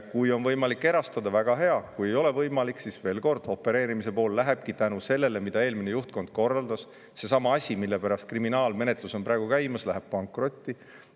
Kui on võimalik erastada, väga hea, kui ei ole võimalik, siis veel kord: opereerimise pool lähebki selle tõttu, mida eelmine juhtkond korraldas – seesama asi, mille pärast kriminaalmenetlus on praegu käimas –, pankrotti.